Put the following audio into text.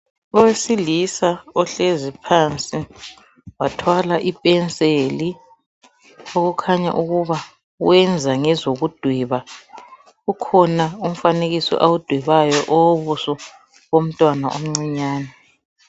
Owesilisa ohlezi phansi wathwala ipenseli okukhanya ukuba uyenza ngezokudweba. Ukhona umfanekiso awudwebayo owobuso bomntwana omncinyane.